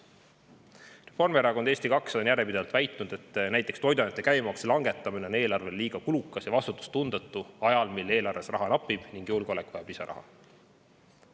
Reformierakond ja Eesti 200 on järjepidevalt väitnud, et näiteks toiduainete käibemaksu langetamine on eelarvele liiga kulukas ja vastutustundetu ajal, mil eelarves raha napib ja julgeolek vajab lisaraha.